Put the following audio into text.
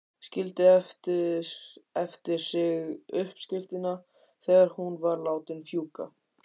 Skildi eftir sig uppskriftina þegar hún var látin fjúka.